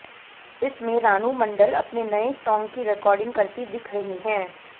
इसमें रानू मंडल अपने नए सॉन्ग की रिकॉर्डिंग करती दिख रही हैं